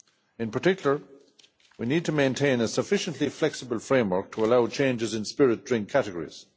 In particular, we need to maintain a sufficiently flexible framework to allow changes in spirit drink categories.